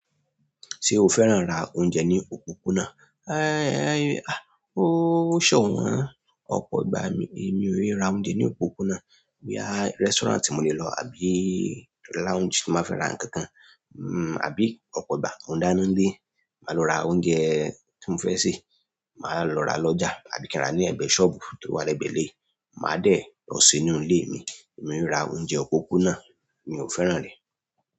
Ṣé o fẹ́ràn ra oúnjẹ ní òpópónà? Ẹẹn, à. Ó ṣọ̀wọ́n. Ọ̀pọ̀ ìgbà mi, èmi ò é ra oúnjẹ ní òpópónà. Wíí à restaurant mi ò lè lọ àbí lounge tí mo fẹ́ ra nǹkan kan, mm àbí ọ̀pọ̀ ìgbà mo ń dáná nílé, màá lọ ra oúnjẹ tí mo fẹ́ sè, màá lọ ra lọ́jà àbí kí á ra ní ẹ̀gbẹ́ sọ́ọ̀bù tó wà ní ẹ̀gbẹ́ ilé, màá dẹ̀ lọ sínú ilé mi. Èmi ò é ra oúnjẹ òpópónà, mi ò fẹ́ràn rẹ̀.